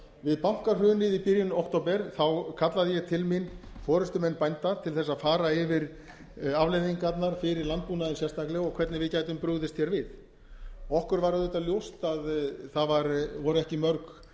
við bankahrunið í byrjun október kallaði ég til mín forustumenn bænda til þess að fara yfir afleiðingarnar fyrir landbúnaðinn sérstaklega og hvernig við gætum brugðist hér við okkur var auðvitað ljóst að það voru ekki mörg